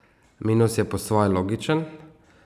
Minus je po svoje logičen.